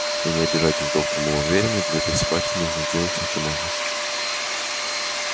вы не обижайтесь доктор мы вам верим но для этой собаки надо сделать все что можно